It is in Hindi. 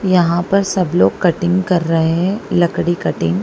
यहां पर सब लोग कटिंग कर रहे हैं लकड़ी कटिंग।